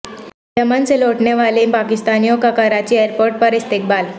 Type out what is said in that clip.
یمن سے لوٹنے والے پاکستانیوں کا کراچی ایئرپورٹ پر استقبال